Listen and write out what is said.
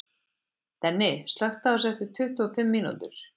Denni, slökktu á þessu eftir tuttugu og fimm mínútur.